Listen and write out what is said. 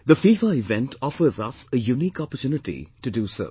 The FIFA event offers us a unique opportunity to do so